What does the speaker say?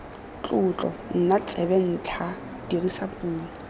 tlotlo nna tsebentlha dirisa puo